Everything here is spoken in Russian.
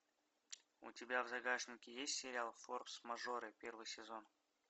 у тебя в загашнике есть сериал форс мажоры первый сезон